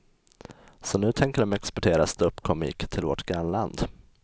Så nu tänker de exportera ståuppkomik till vårt grannland.